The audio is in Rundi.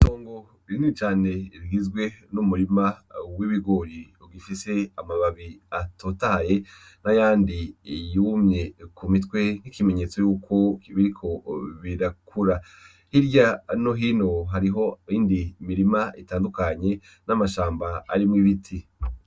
Itongo rinini cane rigizwe n'umurima w'ibigori ugifise amababi atotaye n'ayandi yumye kumitwe nk'ikimenyetso yuko biriko birakura, hirya no hino hariho iyindi mirima itandukanye n'amashamba arimwo ibiti.